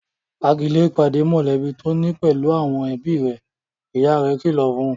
Fa'gilé ìpàdé mọ̀lẹ́bí tó ni pẹ̀lú àwọn ẹbí rẹ' ìyá rẹ̀ kìlọ̀ fún